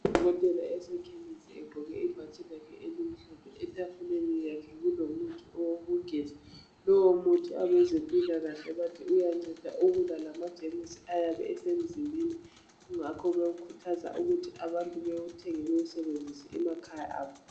Ngudokotela osekhemisi egqoke ibhatshi lakhe elimhlophe. Etafuleni yakhe kulomuthi wokugeza. Lowomuthi abezempilakahle bathi uyabulala amajemusi ngakho abantu bayakhuthazwa ukuthi bawusebenzise emakhaya abo.